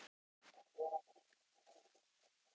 Er hann tilbúinn að tala við Jón Steinar?